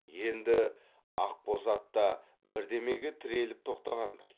енді ақ боз ат та бірдемеге тіреліп тоқтағандай